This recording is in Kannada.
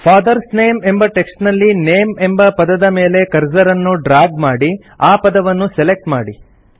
ಫಾದರ್ಸ್ ನೇಮ್ ಎಂಬ ಟೆಕ್ಸ್ಟ್ ನಲ್ಲಿ ನೇಮ್ ಎಂಬ ಪದದ ಮೇಲೆ ಕರ್ಸರ್ ಅನ್ನು ಡ್ರಾಗ್ ಮಾಡಿ ಆ ಪದವನ್ನು ಸೆಲೆಕ್ಟ್ ಮಾಡಿ